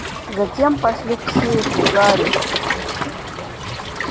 затем пошли к сейфу гарри